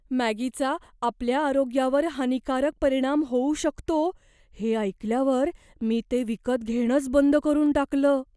मॅगीचा आपल्या आरोग्यावर हानिकारक परिणाम होऊ शकतो हे ऐकल्यावर मी ते विकत घेणंच बंद करून टाकलं.